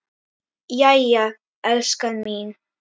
Jæja, elskan mín.